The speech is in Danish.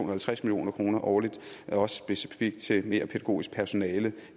og halvtreds million kroner årligt specifikt til mere pædagogisk personale